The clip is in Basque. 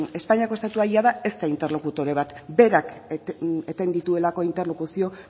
espainiako estatua jada ez da interlokutore bat berak eten dituelako interlokuzio